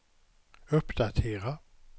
uppdatera